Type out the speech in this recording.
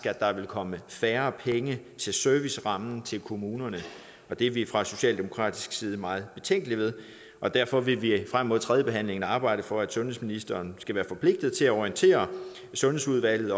at der vil komme færre penge til servicerammen til kommunerne det er vi fra socialdemokratisk side meget betænkelige ved og derfor vil vi frem mod tredjebehandlingen arbejde for at sundhedsministeren skal være forpligtet til at orientere sundhedsudvalget